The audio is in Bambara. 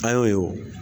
An y'o ye o